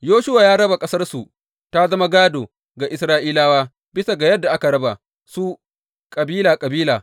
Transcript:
Yoshuwa ya raba ƙasarsu ta zama gādo ga Isra’ilawa bisa ga yadda aka raba su kabila kabila.